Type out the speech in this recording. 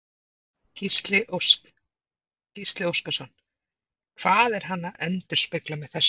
Gísli Óskarsson: Hvað er hann að endurspegla með þessu?